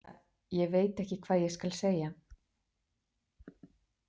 Ja, ég veit ekki hvað ég skal segja.